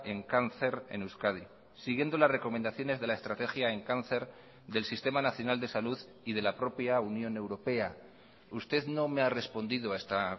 en cáncer en euskadi siguiendo las recomendaciones de la estrategia en cáncer del sistema nacional de salud y de la propia unión europea usted no me ha respondido a esta